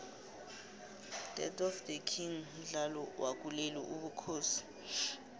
death of the king mdlalo wokulela ubukhosi